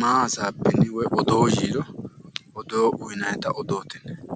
maa basaabbini woyi odoo yiiro odol uyinannitta odoote yinnanni